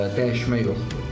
Dəyişmək yoxdur.